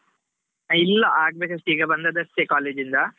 ಇಲ್ಲಾ ಆಗಬೇಕಷ್ಟೆ, ಈಗ ಬಂದದಷ್ಟೇ, college ಇಂದಾ.